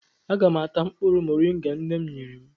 Aga m ata mkpụrụ mọrịnga nne m nyere m.